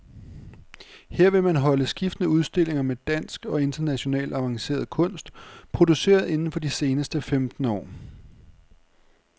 Her vil man holde skiftende udstillinger med dansk og international avanceret kunst, produceret inden for de seneste femten år.